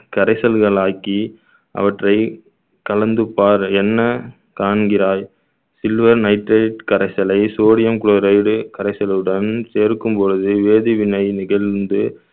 கரைசல்களாக்கி அவற்றை கலந்து பார் என்ன காண்கிறாய் silver nitrate கரைசலை sodium chloride கரைசலுடன் சேர்க்கும் பொழுது வேதிவினை நிகழ்ந்து